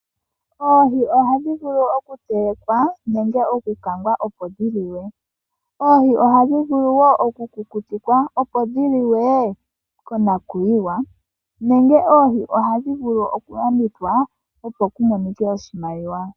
Oohi ohadhi vulu okutelekwa nenge okukangwa opo dhi liwe. Oohi ohadhi vulu wo okukutikwa opo dhi liwe konakuyiwa nenge oohi ohadhi vulu okulandithwa opo ku monike oshimaliwa.